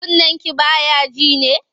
Kunnenki ba ya ji ne?